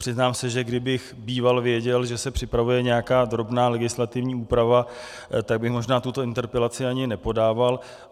Přiznám se, že kdybych býval věděl, že se připravuje nějaká drobná legislativní úprava, tak bych možná tuto interpelaci ani nepodával.